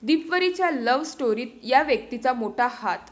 दीपवीरच्या love स्टोरीत 'या' व्यक्तीचा मोठा हात